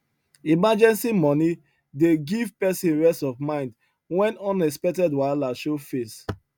emergency money dey give person rest of mind when unexpected wahala show face